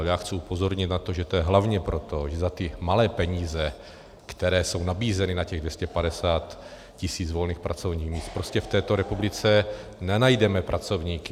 A já chci upozornit na to, že to je hlavně proto, že za ty malé peníze, které jsou nabízeny na těch 250 tisíc volných pracovních míst, prostě v této republice nenajdeme pracovníky.